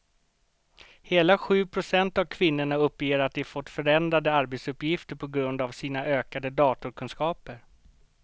Hela sju procent av kvinnorna uppger att de fått förändrade arbetsuppgifter på grund av sina ökade datorkunskaper.